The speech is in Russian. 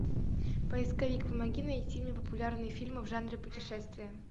поисковик помоги найти мне популярные фильмы в жанре путешествие